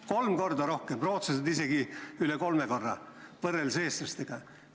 Kolm korda rohkem, ja rootslased isegi üle kolme korra rohkem võrreldes eestlastega.